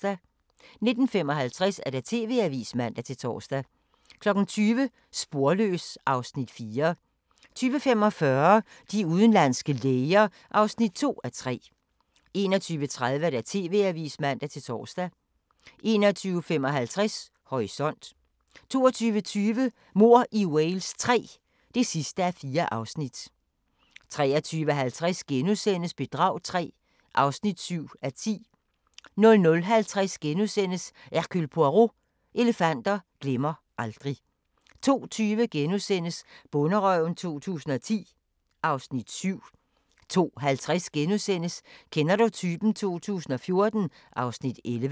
19:55: TV-avisen (man-tor) 20:00: Sporløs (Afs. 4) 20:45: De udenlandske læger (2:3) 21:30: TV-avisen (man-tor) 21:55: Horisont 22:20: Mord i Wales III (4:4) 23:50: Bedrag III (7:10)* 00:50: Hercule Poirot: Elefanter glemmer aldrig * 02:20: Bonderøven 2010 (Afs. 7)* 02:50: Kender du typen? 2014 (Afs. 11)*